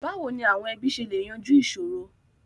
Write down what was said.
Báwo ni àwọn ẹbí ṣe lè yanjú ìṣòro?